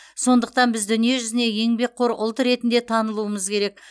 сондықтан біз дүниежүзіне еңбекқор ұлт ретінде танылуымыз керек